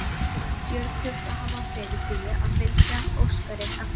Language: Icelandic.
Björn þurfti að hafa fyrir því að fylgja Óskari eftir.